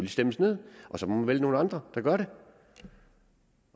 stemmes ned og så må man vælge nogle andre at gøre det